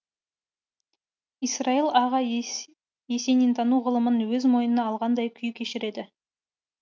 исраил аға есенин тану ғылымын өз мойынына алғандай күй кешіреді